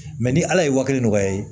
Mɛ ni ala ye wa kelen nɔgɔya ye